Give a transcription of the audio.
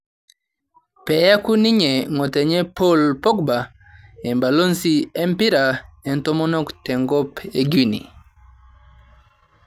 peyaku ninye ng'otonye Pol Pogba embalozi rmpira oontomonok tenkop e Quinea